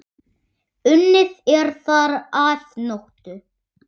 Unnið er þar að nóttu.